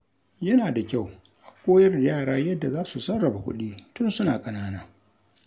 Yana da kyau a koyar da yara yadda za su sarrafa kuɗi tun suna ƙanana.